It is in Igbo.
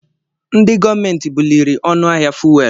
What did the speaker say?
Ndị gọọmenti buliri ọnụ ahịa fuwelu.